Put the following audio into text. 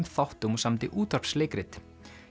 þáttum og samdi útvarpsleikrit